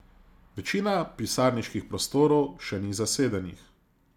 Večina pisarniških prostorov še ni zasedenih.